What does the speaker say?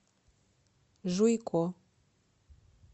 жуйко